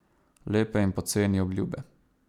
Lepe in poceni obljube.